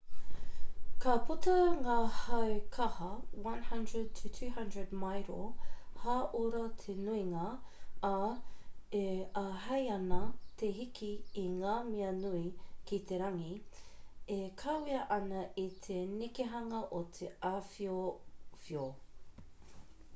ka puta ngā hau kaha 100-200 mairo/haora te nuinga ā e āhei ana te hiki i ngā mea nui ki te rangi e kawea ana i te nekehanga o te awhiowhio